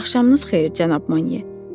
Axşamınız xeyir, cənab Monye.